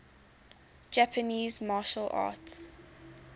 japanese martial arts